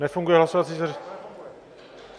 Nefunguje hlasovací zařízení?